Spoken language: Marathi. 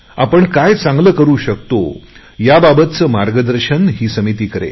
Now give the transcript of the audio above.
आपण काय चांगले करु शकतो या बाबतचा आराखडा समिती तयार करेल